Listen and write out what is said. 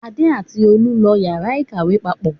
Adé àti Tolú lọ ìyàrá-ìkàwé papọ̀.